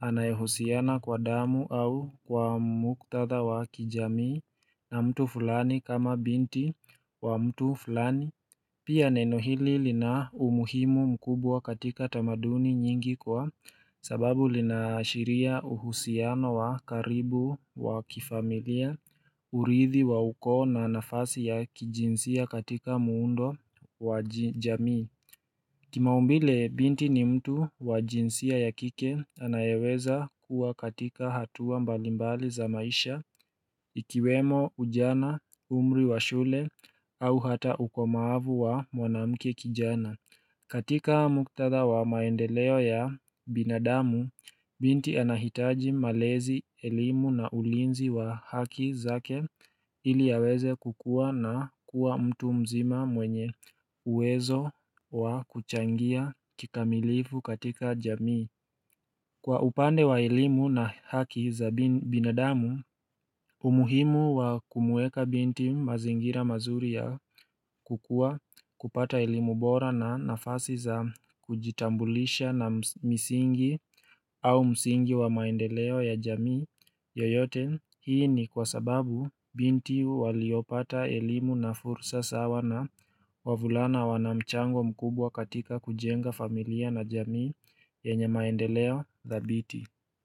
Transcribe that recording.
anayohusiana kwa damu au kwa muktatha wa kijamii na mtu fulani kama binti wa mtu fulani Pia neno hili lina umuhimu mkubwa katika tamaduni nyingi kwa sababu linaashiria uhusiano wa karibu wa kifamilia urithi wa ukoo na nafasi ya kijinsia katika muundo wa jamii Kimaumbile binti ni mtu wa jinsia ya kike anayeweza kuwa katika hatua mbalimbali za maisha ikiwemo ujana umri wa shule au hata ukomaavu wa mwanamke kijana. Katika muktatha wa maendeleo ya binadamu, binti anahitaji malezi, elimu na ulinzi wa haki zake ili yaweze kukua na kuwa mtu mzima mwenye uwezo wa kuchangia kikamilifu katika jamii. Kwa upande wa elimu na haki za binadamu umuhimu wa kumuweka binti mazingira mazuri ya kukua kupata elimu bora na nafasi za kujitambulisha na misingi au msingi wa maendeleo ya jamii yoyote hii ni kwa sababu binti waliopata elimu na fursa sawa na wavulana wanamchango mkubwa katika kujenga familia na jamii yenye maendeleo thabiti.